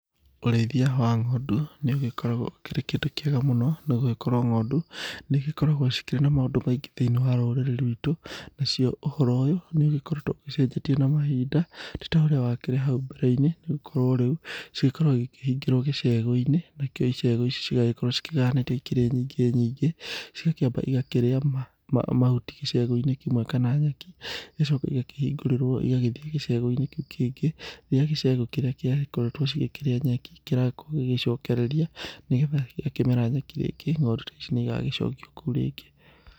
Ũrĩithia wa ng'ondu nĩ ũgĩkoragwo ũkĩrĩ kĩndũ kĩega mũno nĩ gũgĩkorwo ng'ondu, nĩ igĩkoragwo ikĩrĩ na maũndũ maingĩ thĩ-inĩ wa rũrĩrĩ rwitũ. Nacio ũhoro ũyũ nĩ ũgĩkoretwo ũgĩcenjetie na mahinda, ti ta ũrĩa wakĩrĩ hau mbere-inĩ nĩ gũkorwo rĩu cigĩkoragwo cigĩkĩhingĩrwo gĩcegũ-inĩ. Nacio icegũ ici igagĩkorwo ikĩgayanĩtio ikĩrĩ nyingĩ nyingĩ, cigakĩamba igakĩrĩa mahuti gĩcegũ-inĩ kĩmwe kana nyeki, igacoka igakĩhingũrĩrwo igagĩthiĩ gĩcegũ-inĩ kĩu kĩngĩ, rĩrĩa gĩcegũ kĩrĩa giakoretwo cigĩkĩrĩa nyeki kĩrakorwo gĩgĩcokereria nĩgetha gĩakĩmera nyeki rĩngĩ, ng'ondu ta ici nĩ igagĩcokio kũu rĩngĩ.